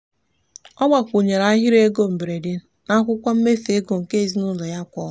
ọ gbakwunyere ahịrị ego mberede n'akwụkwọ mmefu ego nke ezinụụlọ ya kwa ọnwa.